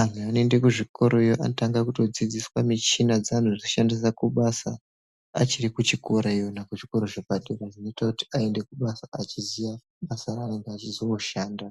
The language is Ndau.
anhu anoende kuzvikoroyo anotanga kutodzidziswa michina dzaanozoshandisa kubasa achiri kuchikorayo iyona kuzvikora zvepadera. Zvinoita kuti aende achiziya basa raanonga achizonoshanda.